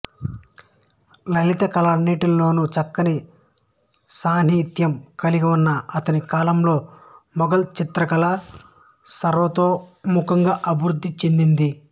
లలితకళలన్నిటిలోను చక్కని సాన్నిహిత్యం కలిగివున్న అతని కాలంలో మొఘల్ చిత్రకళ సార్వతోముఖంగా అభివృద్ధి చెందింది